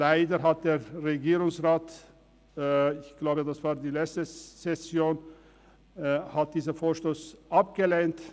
Leider hat der Regierungsrat diesen Vorstoss – ich glaube das war in der letzten Session – abgelehnt.